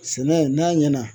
Sɛnɛ n'a ɲɛna